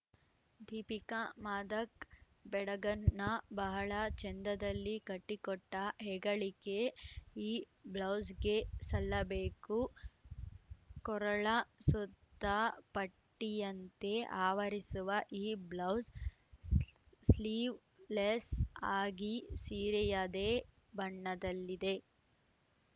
ದೀಪಿಕಾ ಮಾದಕ್ ಬೆಡಗನ್ನ ಬಹಳ ಚೆಂದದಲ್ಲಿ ಕಟ್ಟಿಕೊಟ್ಟಹೆಗಳಿಕೆ ಈ ಬ್ಲೌಸ್‌ಗೆ ಸಲ್ಲಬೇಕು ಕೊರಳ ಸುತ್ತ ಪಟ್ಟಿಯಂತೆ ಆವರಿಸುವ ಈ ಬ್ಲೌಸ್‌ ಸ್ಲೀ ಸ್ಲೀವ್‌ಲೆಸ್‌ ಆಗಿ ಸೀರೆಯದೇ ಬಣ್ಣದಲ್ಲಿದೆ